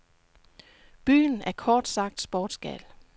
Byen er kort sagt sportsgal.